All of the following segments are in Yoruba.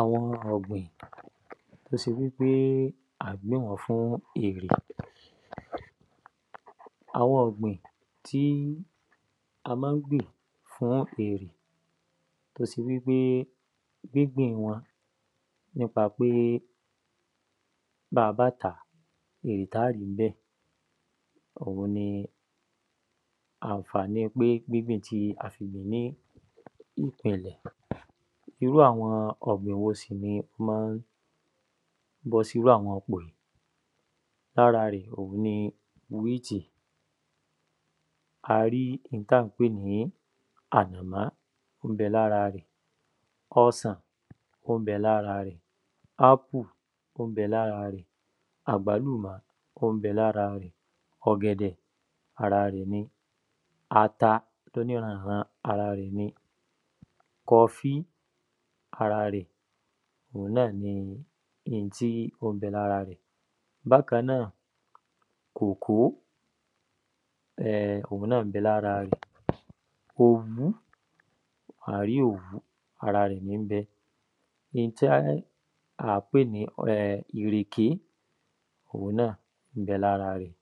Àwọn ọ̀gbìn t’ó se wí pé à gbín wọ́n fún èrè Àwọn ọ̀gbìn tí a má gb̀in fún èrè t’ó se wí pé gbígbìn wọn nípa pé bá a bá tàá, èrè t’á ri ń bẹ̀ òun ni àǹfàní gbígbìn pé a fi gbìn ní ìpìnlẹ̀ Irú àwọn ọ̀gbìn wo sì ni ó má ń bọ́ sí írú àwọn ipò í? L’ára rẹ̀ òun ni wíìtì. A rí in t’á ń pè ní A rí in t’á ń pè ní ànàmọ́, ó ń bẹ l’ára rẹ̀. Ọsàn, ó ń bẹ l’ára rẹ̀. Ápù, ó ń bẹ l’ára rẹ̀. Àgbálùmọ́, ó ń bẹ l’ára rẹ̀. Ọ̀gẹ̀dẹ̀, ara rẹ̀ ni. Ata l’óní ‘ran-n-ran, ara rẹ̀ ni. Kofí ara rẹ̀ òun náà ni in tí ó ń bẹ l’ára rẹ̀. Bákan náà, kòkó ó náà ń bẹ l’ára rẹ̀. Òwú A rí òwú. Ara rẹ̀ ní ń bẹ. In t’á à ń pè ń ìrèké òun náà ó ń bẹ l’ára rẹ̀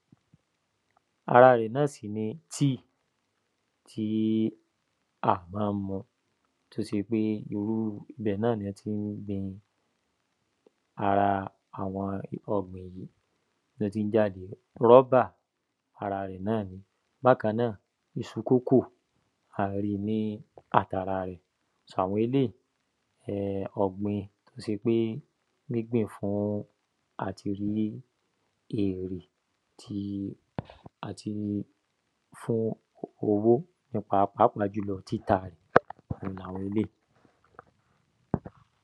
Ara rẹ̀ náà si ní tíì tí à má ń mu. T’ó se irú bẹ̀ náà ní ọ́ tí gbin ara àwọn ọ̀gbìn yìí t’ọ́ tí ń jáde. Rọ́bà ara rẹ̀ náà ni. Bákan náà, iṣu kókò a rí ní àt’ara rẹ̀. Àwọn eléyí, ọ̀gbìn t’ó se pé ọ̀gbìn t’ó se pé gbígbìn fún àti rí èrè ti àti fún owó n’ípa pápá jùlọ títa rẹ̀ òun l’àwọn elé’í.